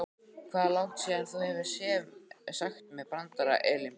Hvað er langt síðan þú hefur sagt mér brandara Elínborg?